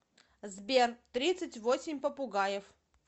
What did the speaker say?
сбер тридцать восемь попугаев